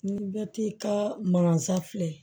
Ni bɛ t'i ka manansa fila